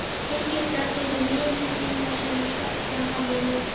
trygginga fyrir liðinn tíma sem stefnandi hafi notið?